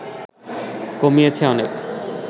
কমিয়েছে অনেক